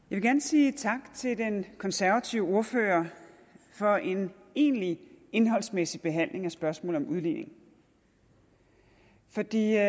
vil gerne sige tak til den konservative ordfører for en egentlig indholdsmæssig behandling af spørgsmålet om udligning for det er